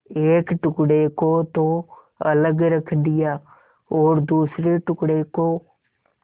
एक टुकड़े को तो अलग रख दिया और दूसरे टुकड़े को